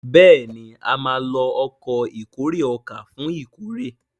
béèni a má ló Ọkọ̀ ìkórè ọkà fún ìkórè.